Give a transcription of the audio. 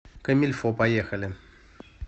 комильфо поехали